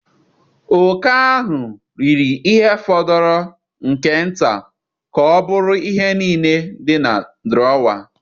Oke ahụ riri ihe fọrọ nke nta ka ọ bụrụ ihe niile dị na drawer.